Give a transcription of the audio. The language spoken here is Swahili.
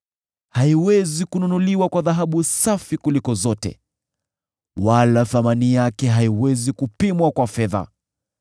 Haiwezi kununuliwa kwa dhahabu safi kuliko zote, wala thamani yake haiwezi kupimwa kwa fedha.